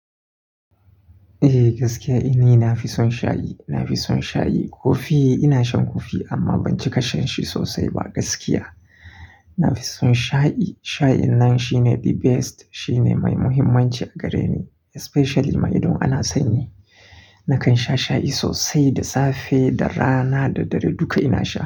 Eh gaskiya, ina fi son shayi. Na fi son shayi. Kofi ina shan kofi amma ban cika shan shi sosai ba gaskiya. Na fi son shayi. Nafi son shayi Shayi nan shine the best, shine mai muhimmanci a gareni especially ma idan ana sanyi. Nakan sha shayi sosai da safe, da rana da dare duka ina sha.